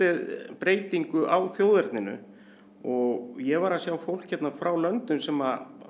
breytingu á þjóðerninu ég var að sjá fólk hérna frá löndum sem